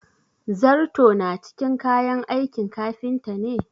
zarto na cikin kayan aikin kafinta ne?